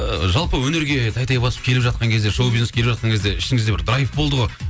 ы жалпы өнерге тәй тәй басып келіп жатқан кезде шоу бизнеске келіп жатқан кезде ішіңізде бір драйв болды ғой